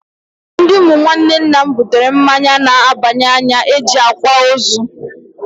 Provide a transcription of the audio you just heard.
Ndị ụmụ nwanne nna m butere mmanya na-aba n'anya nke e ji akwa ozu.